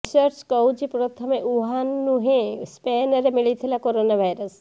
research କହୁଛି ପ୍ରଥମେ Wuhan ନୁହେଁ ସ୍ପେନରେ ମିଲିଥିଲା କରୋନା ଭାଇରସ